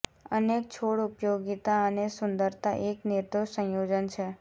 અનેક છોડ ઉપયોગિતા અને સુંદરતા એક નિર્દોષ સંયોજન છે